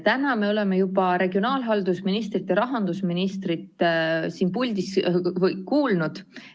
Täna me oleme juba regionaalhalduse ministrit ja rahandusministrit siin puldis kuulnud.